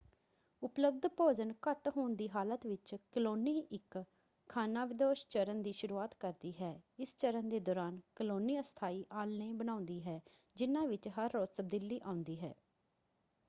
ਉਪਲਬਧ ਭੋਜਨ ਘੱਟ ਹੋਣ ਦੀ ਹਾਲਤ ਵਿੱਚ ਕਲੋਨੀ ਇੱਕ ਖਾਨਾਬਦੋਸ਼ ਚਰਣ ਦੀ ਸ਼ੁਰੂਆਤ ਕਰਦੀ ਹੈ। ਇਸ ਚਰਣ ਦੇ ਦੌਰਾਨ ਕਲੋਨੀ ਅਸਥਾਈ ਆਲ੍ਹਣੇ ਬਣਾਉਂਦੀ ਹੈ ਜਿਹਨਾਂ ਵਿੱਚ ਹਰ ਰੋਜ਼ ਤਬਦੀਲੀ ਆਉਂਦੀ ਹੈ।